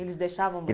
Eles deixavam